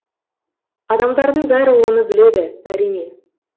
адамдардың бәрі оны біледі әрине